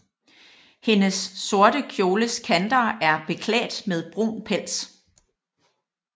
Hendes sorte kjoles kanter er beklædt med brun pels